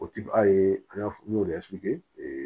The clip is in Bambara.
O ti a ye an y'a fɔ n y'o ee